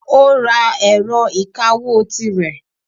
Ó ra ẹ̀rọ ìkawó tirẹ̀.